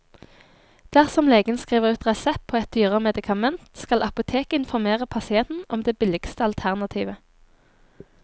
Dersom legen skriver ut resept på et dyrere medikament, skal apoteket informere pasienten om det billigste alternativ.